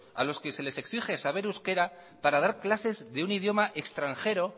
a los que se les exige saber euskera para dar clases de un idioma extranjero